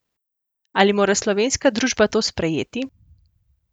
Ali mora slovenska družba to sprejeti?